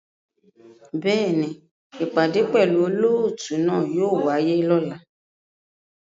Bẹ́ẹ̀ni, ipade pẹlu olootu náa yóò waye lọla